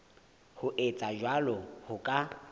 ho etsa jwalo ho ka